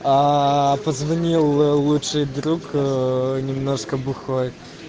а позвони лучший друг м немножко бухой